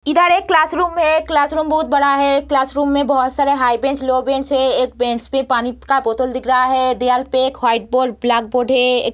इधर एक क्लासरूम है क्लासरूम बहुत बड़ा है क्लासरूम में बहुत सारा हाई बेंच लो बेंच है एक बेंच पे पानी का बोतल दिख रहा है दीबाल पे एक व्हाइट बोर्ड ब्लैक बोर्ड है एक --